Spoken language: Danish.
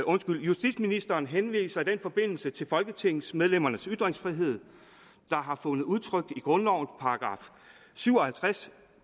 justitsministeren henviser i den forbindelse til folketingsmedlemmernes ytringsfrihed der har fundet udtryk i grundlovens § syv og halvtreds